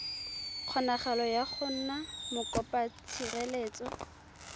kgonagalo ya go nna mokopatshireletso